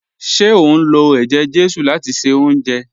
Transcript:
Ṣe o n lọ̀ èjè-jésù láti ṣẹ ọ̀unjẹ?